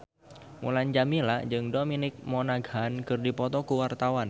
Mulan Jameela jeung Dominic Monaghan keur dipoto ku wartawan